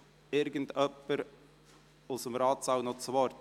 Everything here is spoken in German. Wünscht jemand aus dem Ratssaal das Wort?